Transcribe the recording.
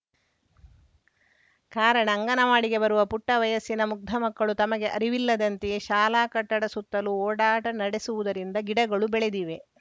ಕಾರಣ ಅಂಗನವಾಡಿಗೆ ಬರುವ ಪುಟ್ಟವಯಸ್ಸಿನ ಮುಗ್ದಮಕ್ಕಳು ತಮಗೆ ಅರಿವಿಲ್ಲದಂತೆಯೇ ಶಾಲಾ ಕಟ್ಟಡ ಸುತ್ತಲು ಓಡಾಟ ನಡೆಸುವುದರಿಂದ ಗಿಡಗಳು ಬೆಳೆದಿವೆ